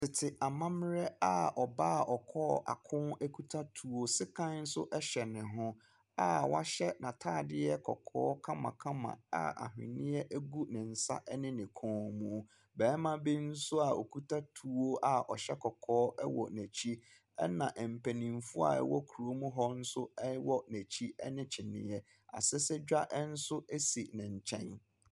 Tete amammerɛ a ɔbaa a ɔkɔɔ ako kita tuo. Sekan nso hyɛ no ho a wahyɛ n'ataadeɛ kɔkɔɔ a anhweneɛ gu ne nsa ne ne kɔn mu. Barima a okita tou a ɔhyɛ kɔkɔɔ wɔ n'akyi. Ɛna mpanimfoɔ a wɔwɔ kurom hɔ nso wɔ n'akyi ne kyiniiɛ. Asɛsɛgua nso si ne nkyɛn.